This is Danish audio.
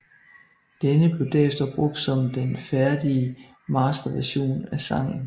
Denne blev derefter brugt som den færdige masterversion af sangen